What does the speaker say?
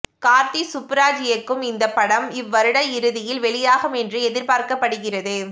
கார்த்தி சுப்புராஜ் இயக்கும் இந்த படம் இவ்வருட இறுதியில் வெளியாகும் என்று எதிர்பார்க்கப்படுகிறது